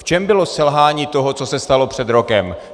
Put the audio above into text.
V čem bylo selhání toho, co se stalo před rokem?